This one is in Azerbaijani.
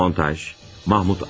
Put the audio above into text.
Montaj: Mahmud Acar.